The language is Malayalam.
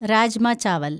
രാജ്മ ചാവൽ